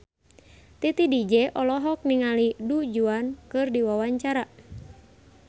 Titi DJ olohok ningali Du Juan keur diwawancara